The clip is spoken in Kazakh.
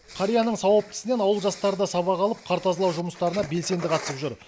қарияның сауапты ісінен ауыл жастары да сабақ алып қар тазалау жұмыстарына белсенді қатысып жүр